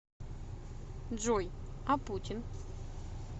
джой а путин